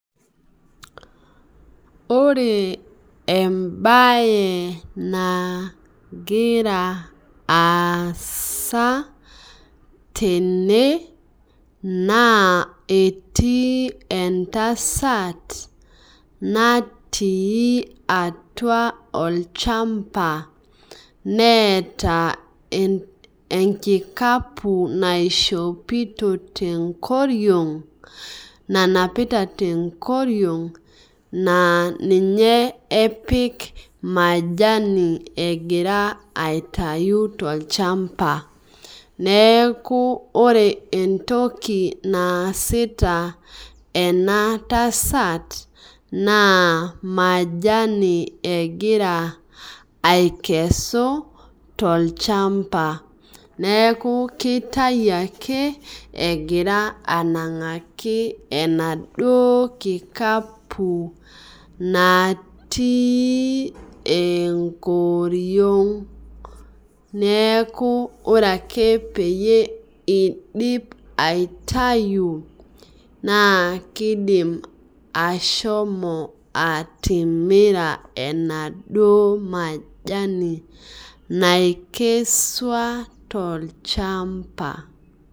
Ore embae nagira aasa tene na etii entasat natii atua olchamba neeta enkikapu naishopito tenkoriong nanapita tenkoriong na ninye epik majami egira aitau tolchamba meaku ore entoki naasita ematasat na majani egira akesu tolchamba newku kitau ake egira ananvaki emaduo kikapu natii enkoriong neaku ore ake pidim aitau na kidim ashomo atimira enaduo majani nakesua tolchamba.